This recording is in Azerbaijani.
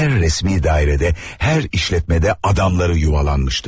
Hər rəsmi dairədə, hər işlətmədə adamları yuvalanmışdı.